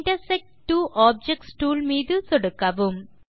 intersect two objects tool மீது சொடுக்கவும்